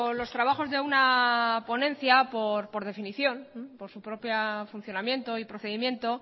los trabajos de una ponencia por definición por su propio funcionamiento y procedimiento